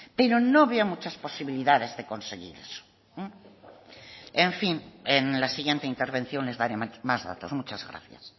pero no veo muchas posibilidades de conseguir eso en fin en la siguiente intervención les daré más datos muchas gracias